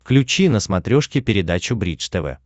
включи на смотрешке передачу бридж тв